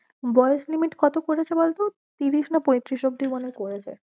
বয়েস limit কত করেছে বল তো তিরিশ না পৈতিরিশ অবধি মনে হয়ে করেছে।